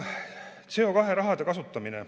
CO2 raha kasutamine.